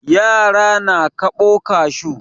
Yara na kaɓo kashu.